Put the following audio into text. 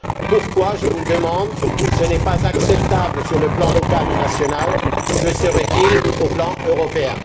Pourquoi, je vous le demande, ce qui n'est pas acceptable sur le plan local ou national le serait il au plan européen?